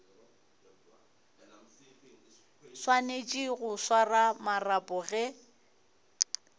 swanetše go swara marapo ge